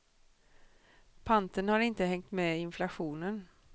Panten har inte hängt med inflationen.